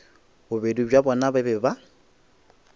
bobedi bja bona ba be